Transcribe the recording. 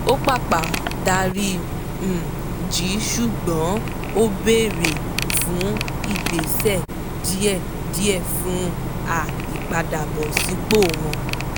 ó pàpà dárí um jì í ṣùgbọ́n ó béèrè fún ìgbésẹ̀ díẹ̀díẹ̀ fún um ìpadàbọ̀sípò wọn